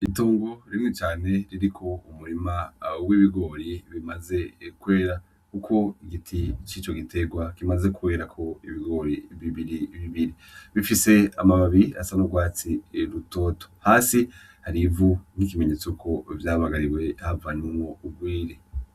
Itongo rinini cane ririko umurima w'ibigori bimaze kwera kuko igiti cico giterwa kimaze kwera ko ibigori bibiri bibiri bifise amababi asa n'urwatsi rutoto hasi hari ivu nkiki menyetso ko vyabagariwe havanwemwo urwiri.